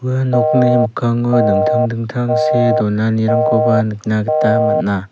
ua nokni mikkango dingtang dingtang see donanirangkoba nikna gita man·a.